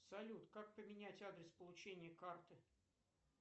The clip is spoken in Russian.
салют как поменять адрес получения карты